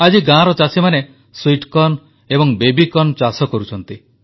ଆଜି ଗାଁର ଚାଷୀମାନେ ମିଠା ମକା ଏବଂ ବେବି କର୍ନ ଚାଷ କରୁଛନ୍ତି